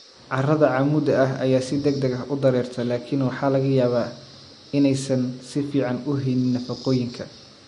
Carrada cammuudda ah ayaa si degdeg ah u dareerta laakiin waxaa laga yaabaa inaysan si fiican u haynin nafaqooyinka.